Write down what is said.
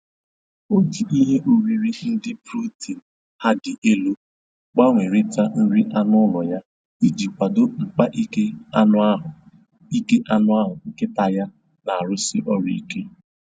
O ji ihe oriri ndị protin ha dị elu gbanwerita nri anụ ụlọ ya iji kwado mkpa ike anụahụ ike anụahụ nkịta ya na-arụsi ọrụ ike